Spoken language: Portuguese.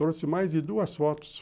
Trouxe mais de duas fotos.